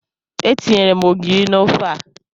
Etinyere m ogiri n'ofe a.